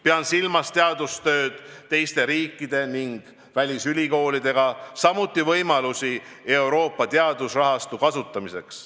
Pean silmas teaduskoostööd teiste riikide ja välisülikoolidega, samuti võimalusi Euroopa teadusrahastu kasutamiseks.